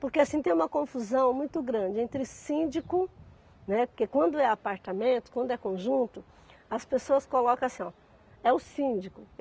Porque assim tem uma confusão muito grande entre síndico, né, porque quando é apartamento, quando é conjunto, as pessoas colocam assim, oh, é o síndico.